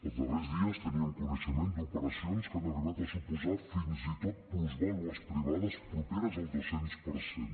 els darrers dies teníem coneixement d’operacions que han arribat a suposar fins i tot plusvàlues privades properes al dos cents per cent